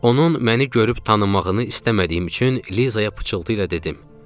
Onun məni görüb tanımaqını istəmədiyim üçün Lizaya pıçıltı ilə dedim: